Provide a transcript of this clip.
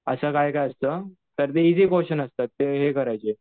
असं काय काय असतं. तर ते ईजी क्वेश्चन असतात ते हे करायचे.